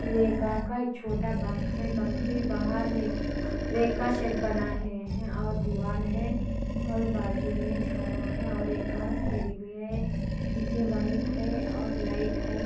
यह एक छोटा बंक है बक के बाहर एक सेट बना है और दीवाल है और बाजू में झाड़ा है. और एक कर तेरी हुई है | पीछे वायर है और लाइट है |